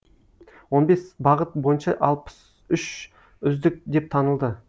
он бес бағыт бойынша алпыс үш үздік деп танылды